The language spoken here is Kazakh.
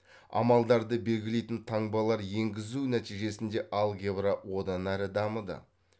амалдарды белгілейтін таңбалар енгізу нәтижесінде алгебра одан әрі дамыды